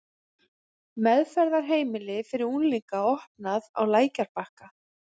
Meðferðarheimili fyrir unglinga opnað á Lækjarbakka